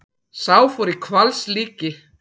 Sá fór í hvalslíki.